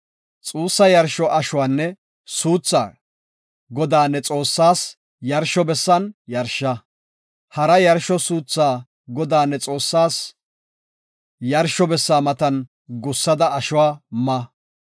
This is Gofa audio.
Xuussa yarsho ashuwanne suuthaa Godaa, ne Xoossaa yarsho bessan yarsha. Hara yarsho suuthaa Godaa, ne Xoossaa yarsho bessa matan gussada ashuwa ma.